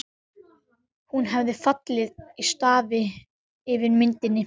Hún hefur fallið í stafi yfir myndinni.